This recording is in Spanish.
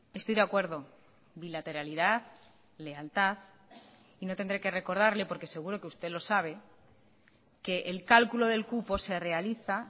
estoy de acuerdo bilateralidad lealtad y no tendré que recordarle porque seguro que usted lo sabe que el cálculo del cupo se realiza